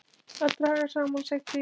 Að draga saman seglin